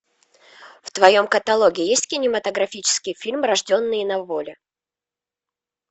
в твоем каталоге есть кинематографический фильм рожденные на воле